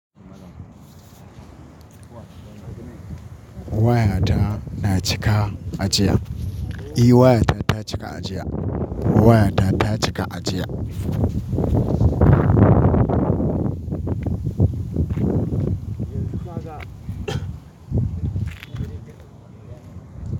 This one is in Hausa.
Wayata na cika ajiya. Eh wayata ta cika ajiya. Wayada ta cika ajiya.